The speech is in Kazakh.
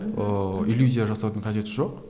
ыыы иллюзия жасаудың қажеті жоқ